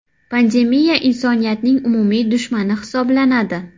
Pandemiya insoniyatning umumiy dushmani hisoblanadi.